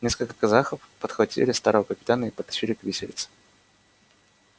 несколько казахов подхватили старого капитана и потащили к виселице